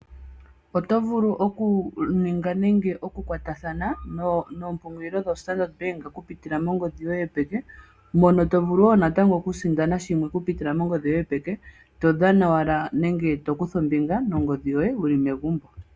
Otovulu oku ninga, nenge oku kwatathana noompungulilo dho Standard Bank oku pitila mongodhi yoye yopeke, mono to vulu woo natango oku sindana shimwe oku pitila mongodhi yoye yopeke, to dhana owala, nenge to kutha ombinga nongodhi yoye wuli megumbo.